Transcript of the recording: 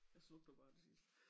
Ja snup du bare det sidste